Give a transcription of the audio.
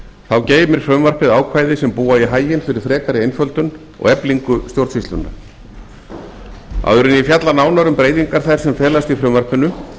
þá geymir frumvarpið ákvæði sem búa í haginn fyrir frekari einföldun og eflingu stjórnsýslunnar áður en ég fjalla nánar um breytingar þær sem felast í frumvarpinu